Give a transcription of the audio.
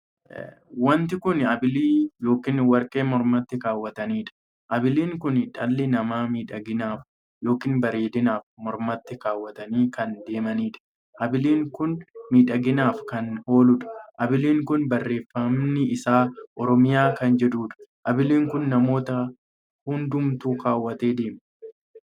Wanti kun abilii ykn warqee mormatti kaawwataniidha. abiliin kun dhalli namaa miidhaginaaf ykn bareedinaaf mormatti kaawwatanii kan adeemaniidha. abiliin kun miidhaginaaf kan ooluudha. abiliin kun barreeffamni isaa oromiyaa kan jechuudha. abilii kana namoota hundumaatu kaawwatee deema.